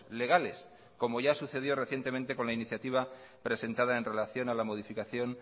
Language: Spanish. legales como ya sucedió recientemente con la iniciativa presentada en relación a la modificación